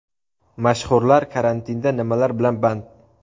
Mashhurlar karantinda nimalar bilan band?